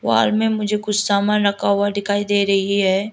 Hall में मुझे कुछ सामान रखा हुआ डिखाई दे रही है।